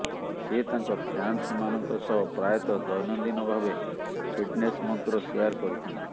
ସେ ତାଙ୍କ ଫ୍ୟାନ୍ସମାନଙ୍କ ସହ ପ୍ରାୟତଃ ଦୈନନ୍ଦିନ ଭାବେ ଫିଟ୍ନେସ୍ ମନ୍ତ୍ର ସେୟାର୍ କରିଥାନ୍ତି